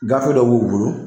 Gafe dɔ b'u bolo